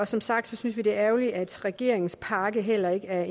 som sagt synes vi det er ærgerligt at regeringens pakke heller ikke er